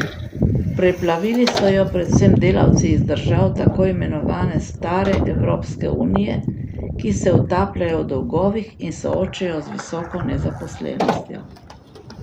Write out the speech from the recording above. Preplavili so jo predvsem delavci iz držav tako imenovane stare evropske unije, ki se utapljajo v dolgovih in soočajo z visoko nezaposlenostjo.